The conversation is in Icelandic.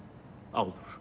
áður